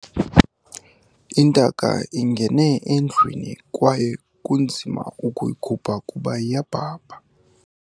Intaka ingene endlwini kwaye kunzima ukuyikhupha kuba iyabhabha.